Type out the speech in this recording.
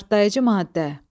Partlayıcı maddə.